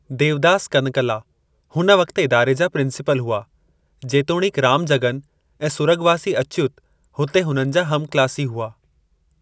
देवदास कनकला हुन वक़्ति इदारे जा प्रिंसिपल हुआ, जेतोणीक रामजगन ऐं सुरग॒वासी अच्युत हुते हुननि जा हमक्लासी हुआ।